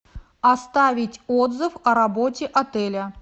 оставить отзыв о работе отеля